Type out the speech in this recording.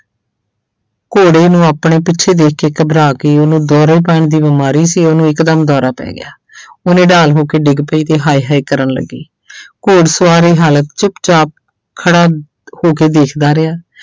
ਘੋੜੇ ਨੂੂੰ ਆਪਣੇ ਪਿੱਛੇ ਦੇਖ ਕੇ ਘਬਰਾ ਗਈ, ਉਹਨੂੰ ਦੌਰੇ ਪੈਣ ਦੀ ਬਿਮਾਰੀ ਸੀ, ਉਹਨੂੰ ਇੱਕਦਮ ਦੌਰਾ ਪੈ ਗਿਆ ਉਹ ਨਿਡਾਲ ਹੋ ਕੇ ਡਿੱਗ ਪਈ ਤੇ ਹਾਏ ਹਾਏ ਕਰਨ ਲੱਗੀ ਘੋੜ ਸਵਾਰ ਇਹ ਹਾਲਤ ਚੁੱਪਚਾਪ ਖੜਾ ਹੋ ਕੇ ਦੇਖਦਾ ਰਿਹਾ।